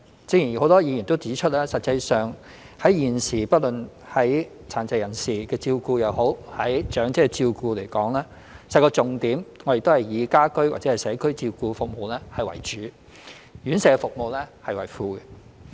正如很多議員均指出，現時不論殘疾人士的照顧、長者的照顧而言，實際上重點皆以"家居/社區照顧服務為主，院舍照顧服務為輔"。